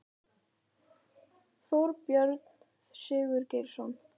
Þorbjörn Sigurgeirsson